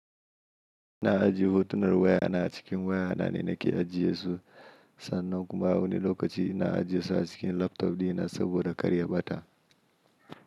Ina ajiye hotunar waya na a cikin waya na ne nake ajiye su. Sannan kuma a wani lokaci ina ajiye su a cikin laptop ɗina saboda karya bata.